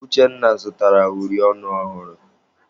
Uchenna zụtara uri ọnụ ọhụrụ.